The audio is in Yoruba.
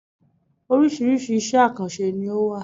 Oríṣiríṣi iṣẹ̀ àkànṣe ni ó wà.